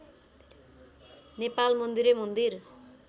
नेपाल मन्दिरै मन्दिर